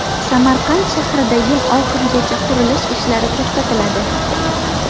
Samarqand shahrida yil oxirigacha qurilish ishlari to‘xtatiladi.